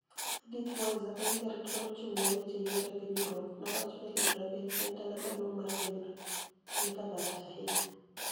Edith Mweniza, ma eni jarit ma ni e ochunig ' ni e weche yiero e piniy Europe, nowacho nii Libreville, ma eni dala maduonig ' mar piny no, eni kama rach ahiniya.